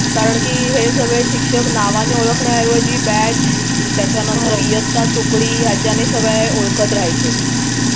कारंकी हे सगळे शिक्षक नावाने ओळखण्याऐवजी batch त्याच्यानंतर इयत्ता तुकडी याच्याने सगळे ओळखत रहायचे